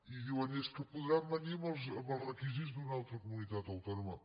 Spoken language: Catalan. i diuen és que podran venir amb els requisits d’una altra comunitat autònoma